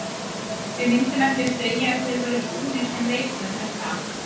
Við myndum ekki segja að þeir væru búnir sem leikmenn er það?